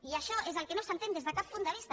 i això és el que no s’entén des de cap punt de vista